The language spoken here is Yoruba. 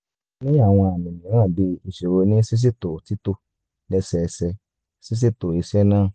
ṣe o ni awọn àmì mìíràn bii iṣoro ní ṣíṣètò títò lẹ́sẹẹsẹ ṣíṣètò iṣẹ́ náà